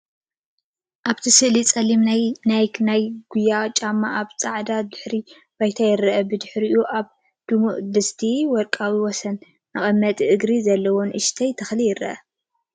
ኣብቲ ስእሊ ጸሊም ናይ ናይክ ናይ ጉያ ጫማ ኣብ ጻዕዳ ድሕረ ባይታ ይርአ። ብድሕሪኦም ኣብ ድሙቕ ድስቲ ወርቃዊ ወሰን መቐመጢ እግርን ዘለዎ ንእሽቶ ተኽሊ ይርአ።